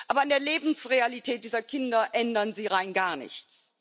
Aber an der Lebensrealität dieser Kinder ändern sie rein gar nichts.